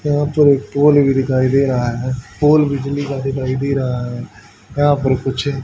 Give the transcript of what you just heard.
यहां पर एक पोल भी दिखाई दे रहा है पोल बिजली का दिखाई दे रहा है यहां पर कुछ--